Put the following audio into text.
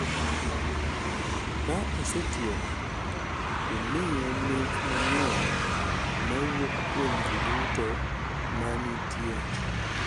ka osetieko, imiye mich mang’eny ma wuok kuom ji duto ma nitie.